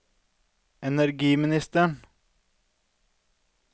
energiministeren